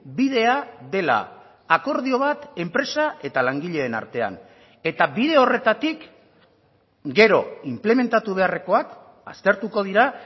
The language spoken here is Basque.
bidea dela akordio bat enpresa eta langileen artean eta bide horretatik gero inplementatu beharrekoak aztertuko dira